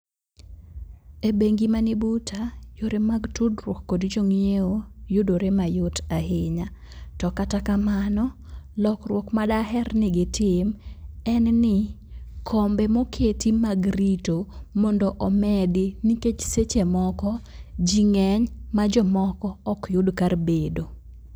Ebengi mani buta, eyore mag tudruok gi jo ng'iewo yudore mayot ahinya. To kata kamano, lokruok madaher ni gitim, en ni kombe moket mag rito mondo omedi, nikech seche moko ji ng'eny ma jomoko ok yud kar bedo.